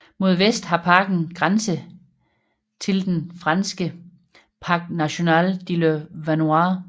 Mod vest har parken grænse tilden franske Parc national de la Vanoise